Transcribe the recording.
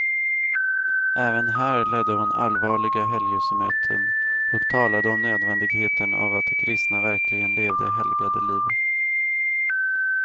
Även här ledde hon allvarliga helgelsemöten och talade om nödvändigheten av att de kristna verkligen levde helgade liv.